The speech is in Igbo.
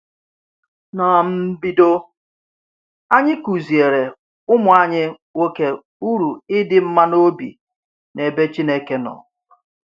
N’mbido, anyị kụziere ụmụ anyị nwoke uru idi mma n’obi n’ebe Chineke nọ.